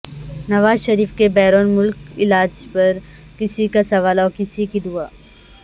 نواز شریف کے بیرون ملک علاج پر کسی کا سوال اور کسی کی دعا